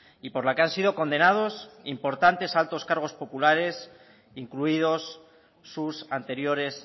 y por la que han sido condenados importantes altos cargos populares incluidos sus anteriores